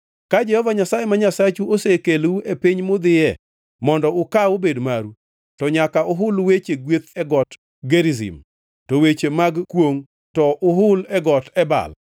Ka Jehova Nyasaye ma Nyasachu osekelou e piny mudhiye mondo ukaw obed maru, to nyaka uhul weche gweth e got Gerizim, to weche mag kwongʼ to uhul e got Ebal.